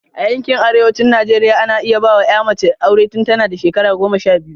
A yankin arewacin Najeriya, ana iya ba wa ‘ya mace aure tun tana da shekara goma sha biyu.